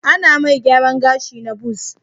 Ana mai gyaran gashi na buzz